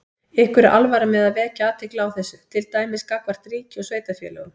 Ykkur er alvara með að vekja athygli á þessu, til dæmis gagnvart ríki og sveitarfélögum?